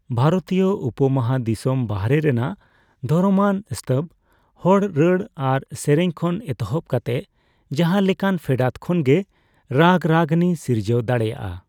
ᱵᱷᱟᱨᱚᱛᱤᱭᱟᱹ ᱩᱯᱚᱼᱢᱟᱦᱟᱫᱤᱥᱚᱢ ᱵᱟᱦᱮᱨ ᱨᱮᱱᱟᱜ ᱫᱷᱚᱨᱚᱢᱟᱱ ᱥᱛᱚᱵᱽ, ᱦᱚᱲ ᱨᱟᱹᱲ ᱟᱨ ᱥᱮᱨᱮᱧ ᱠᱷᱚᱱ ᱮᱛᱚᱦᱚᱵ ᱠᱟᱛᱮ ᱡᱟᱦᱟ ᱞᱮᱠᱟᱱ ᱯᱷᱮᱰᱟᱛ ᱠᱷᱚᱱᱜᱮ ᱨᱟᱜᱽᱨᱟᱜᱤᱱᱤ ᱥᱤᱨᱡᱟᱹᱣ ᱫᱟᱲᱮᱭᱟᱜᱼᱟ ᱾